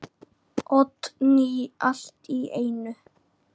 Oddný allt í einu.